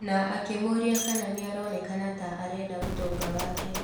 Na akĩmũria kana nĩaronekana ta arenda ũtonga wake.